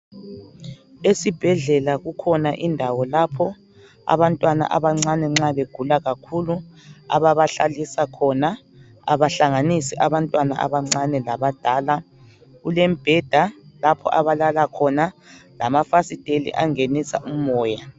Esibhedlela kukhona indawo lapho abantwana abancane nxa begula kakhulu ababalalisa khona abahlanganisi abantwana abancane labadala kulembheda lapho abalala khona lamafasiteli angenisa umoya.